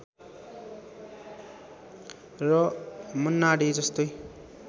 र मन्नाडे जस्तै